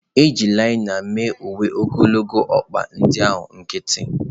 E ji linen mee uwe ogologo ọkpa ndị ahụ nkịtị.